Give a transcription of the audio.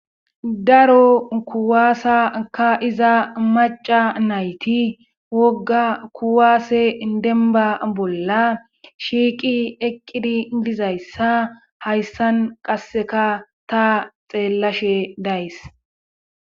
Raro kuwaasaka iza maca nayti wogga kuwaase demba bolla shiiqi eqqidi dizayssa hayssan qasseka ta xeellashe days.